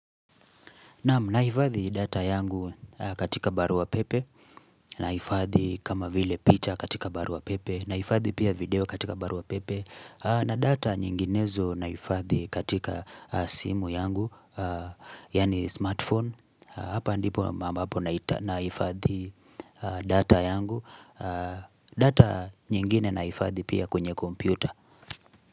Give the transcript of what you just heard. Nahifadhi data yangu katika barua pepe, nahifadhi kama vile picha katika barua pepe, nahifadhi pia video katika barua pepe, na data nyinginezo nahifadhi katika simu yangu, yaani smartphone, hapa ndipo ambapo nahifadhi data yangu, data nyingine nahifadhi pia kwenye kompyuta.